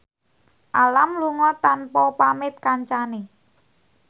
Alam lunga tanpa pamit kancane